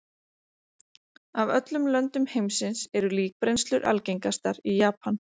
Af öllum löndum heimsins eru líkbrennslur algengastar í Japan.